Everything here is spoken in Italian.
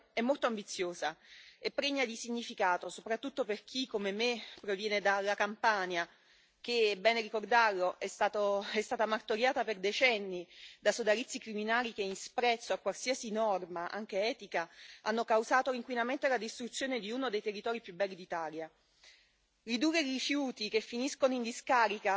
La relazione sull'economia circolare che ci apprestiamo a votare è molto ambiziosa e pregna di significato soprattutto per chi, come me, proviene dalla Campania che, è bene ricordarlo, è stata martoriata per decenni da sodalizi criminali che, in sprezzo a qualsiasi norma, anche etica, hanno causato l'inquinamento e la distruzione di uno dei territori più belli d'Italia.